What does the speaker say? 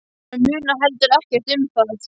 Hann munar heldur ekkert um það.